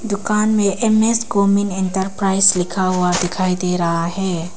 दुकान में M S Gomin enterprise लिखा हुआ दिखाई दे रहा है।